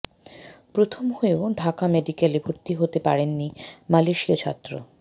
প্রথম হয়েও ঢাকা মেডিকেলে ভর্তি হতে পারেননি মালয়েশীয় ছাত্র